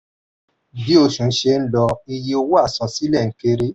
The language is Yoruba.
bí oṣù ṣe ń lọ iye owó àsansílẹ̀ ń kéré.